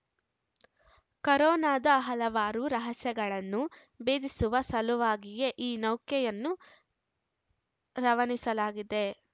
ಕರೋನಾದ ಹಲವಾರು ರಹಸ್ಯಗಳನ್ನು ಭೇದಿಸುವ ಸಲುವಾಗಿಯೇ ಈ ನೌಕೆಯನ್ನು ರವನಿಸಲಾಗುತ್ತಿದೆ